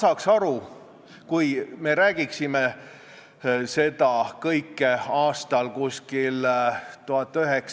Hiljuti arutasime siin saalis eesti keele positsiooni küsimust ja tulime järeldusele, et kõige suurem probleem polegi väikestes trahvides, vaid väikestes võimalustes õpetada inimestele eesti keelt.